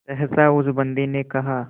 सहसा उस बंदी ने कहा